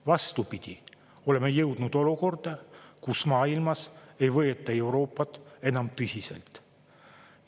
Vastupidi, oleme jõudnud olukorda, et maailmas ei võeta Euroopat enam tõsiselt.